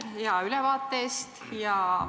Aitäh hea ülevaate eest!